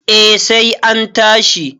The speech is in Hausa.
eh sai an tashi